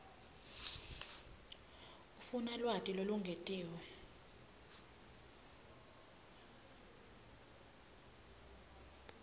ufuna lwati lolungetiwe